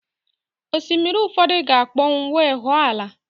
Osimiri ụfọdụ ga-akpọnwụ wee ghọọ ala